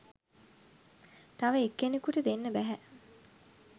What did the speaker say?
තව එක් කෙනෙකුට දෙන්න බැහැ.